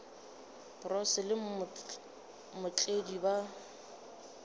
bro boss le mootledi ba